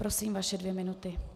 Prosím, vaše dvě minuty.